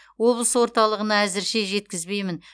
облыс орталығына әзірше жеткізбеймін